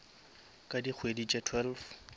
ka dikgwedi tše twelve